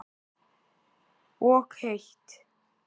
Og heitt.